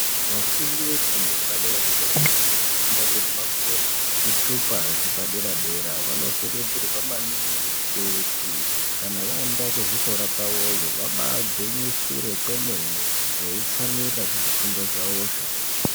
Vafundi vefundo yepadera-dera vanofunda kuti vapuwe zvitupa zvepadera-dera. Vanokurudzirwa maningi kuti kana vaenda kuzvikora kwavoyo vabagwinyisire kwemene veitsamwirira kuzvifundo zvavozvo.